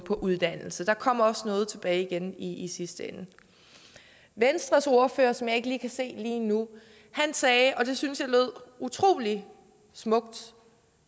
på uddannelse der kommer også noget tilbage igen i sidste ende venstres ordfører som jeg ikke kan se lige nu sagde og det syntes jeg lød utrolig smukt